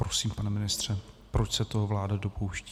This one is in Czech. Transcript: Prosím, pane ministře - proč se toho vláda dopouští?